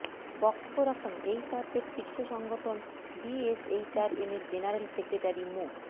বক্তব্য রাখেন এইচআরদের শীর্ষ সংগঠন বিএসএইচআরএমের জেনারেল সেক্রেটারি মো